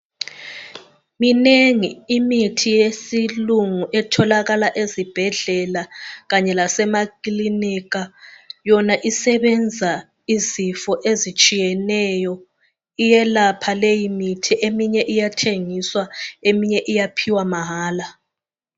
Minengi imithi yesilungu etholakala ezibhedlela Kanye lasema kilinika. Yona isebenza izifo ezitshiyeneyo iyelapha leyi mithi eminye iyathengiswa eminye iyaphiwa mahala